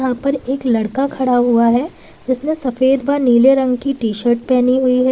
ऊपर एक लड़का खड़ा हुआ है जिसने सफेद व नीले रंग की टी शर्ट पहनी हुई है।